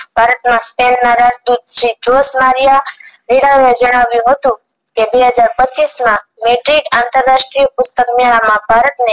ભારતમાં જણાવ્યું હતું કે બે હજાર પચીસમાં metric આંતરરાષ્ટીય પુસ્તક મેળા માં ભારત ને